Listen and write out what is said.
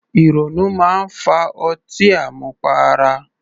Ìrònú máa ń fa ọtí àmupara